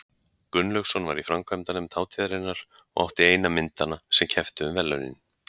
Gunnlaugsson var í framkvæmdanefnd hátíðarinnar og átti eina myndanna sem kepptu um verðlaunin.